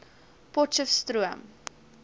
potchefstroom